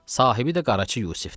Sahibi də Qaraca Yusifdir.